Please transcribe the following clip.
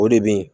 O de bɛ yen